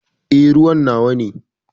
Eh, ruwan nawa ne.